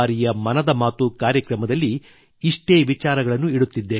ಈ ಬಾರಿಯ ಮನದ ಕಾರ್ಯಕ್ರಮದಲ್ಲಿ ಇಷ್ಟೇ ವಿಚಾರಗಳು